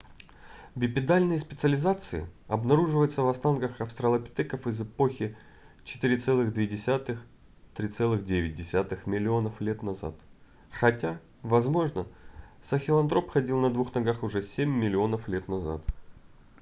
бипедальные специализации обнаруживаются в останках австралопитеков из эпохи 4,2–3,9 миллионов лет назад хотя возможно сахелантроп ходил на двух ногах уже 7 миллионов лет назад